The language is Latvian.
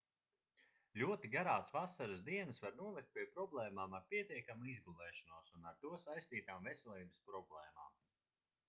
ļoti garās vasaras dienas var novest pie problēmām ar pietiekamu izgulēšanos un ar to saistītām veselības problēmām